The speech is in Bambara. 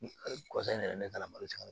Kɔfɛ n yɛrɛ ne taara malo tigɛ